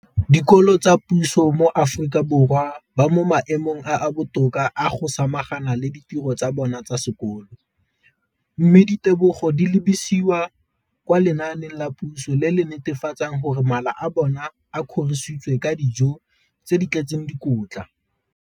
Dikolo tsa puso mo Aforika Borwa ba mo maemong a a botoka a go ka samagana le ditiro tsa bona tsa sekolo, mme ditebogo di lebisiwa kwa lenaaneng la puso le le netefatsang gore mala a bona a kgorisitswe ka dijo tse di tletseng dikotla.